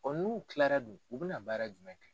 n'u Kilara dUn u bɛ na baara jumɛn kɛ?